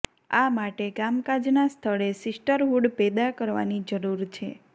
આ માટે કામકાજના સ્થળે સિસ્ટરહૂડ પેદા કરવાની જરૂર છે